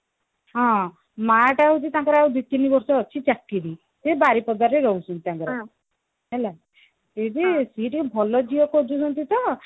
ହଁ ମା ଟା ହଉଛି ତାଙ୍କର ଆଉ ଦିତିନି ବର୍ଷ ଅଛି ଚାକିରି ସେ ବାରିପଦାରେ ରହୁଛନ୍ତି ତାଙ୍କର ହେଲା ସେବି ସେ ଟିକେ ଭଲ ଝିଅ ଖୋଜୁଛନ୍ତି ତ